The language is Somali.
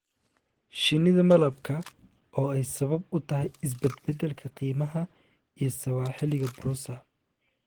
shinnida malabka oo ay sabab u tahay isbedbedelka qiimaha iyo sawaaxiliga porosa